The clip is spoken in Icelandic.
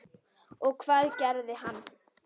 Og hvað gerði hann?